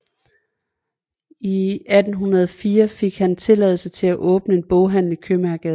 I 1804 fik han tilladelse til at åbne en boghandel i Købmagergade